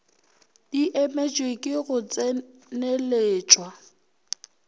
di emetšwe ke go tseneletšwa